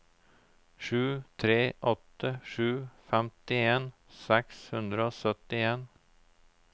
sju tre åtte sju femtien seks hundre og syttien